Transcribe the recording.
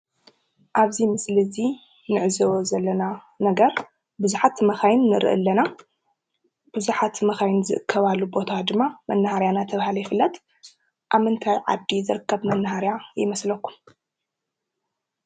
ኣብዚ ምስሊ እዚ እንዕዘቦ ዘለና ነገር ቡዙሓት መካይን ንርኢ ኣለና፡፡ ቡዙሓት መካይን ዝእከባሉ ቦታ ድማ መናሃርያ እናተባሃለ ይፍለጥ፡፡ ኣብ ምንታይ ዓዲ ዝርከብ መናሃርያ ይመስለኩም?